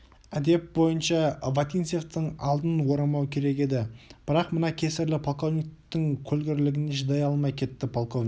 әдеп бойынша вотинцевтің алдын орамау керек еді бірақ мына кесірлі полковниктің көлгірлігіне шыдай алмай кетті полковник